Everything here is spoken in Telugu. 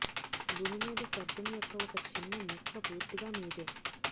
భూమి మీద స్వర్గం యొక్క ఒక చిన్న ముక్క పూర్తిగా మీదే